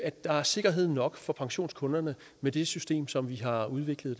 der er sikkerhed nok for pensionskunderne med det system som vi har udviklet